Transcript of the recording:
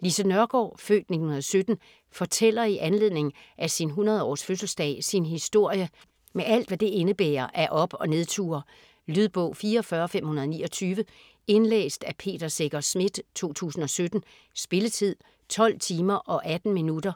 Lise Nørgaard (f. 1917) fortæller i anledning af sin 100-års fødseldag sin historie med alt, hvad det indebærer af op- og nedture. Lydbog 44529 Indlæst af Peter Secher Schmidt, 2017. Spilletid: 12 timer, 18 minutter.